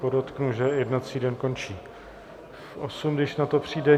Podotknu, že jednací den končí v osm, když na to přijde.